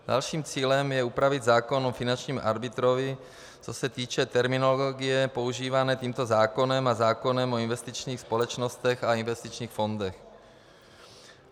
Dalším cílem je upravit zákon o finančním arbitrovi, co se týče terminologie používané tímto zákonem a zákonem o investičních společnostech a investičních fondech.